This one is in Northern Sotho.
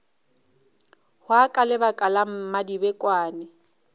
hwa ka lebaka la mmadibekwane